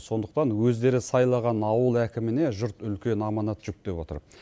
сондықтан өздері сайлаған ауыл әкіміне жұрт үлкен аманат жүктеп отыр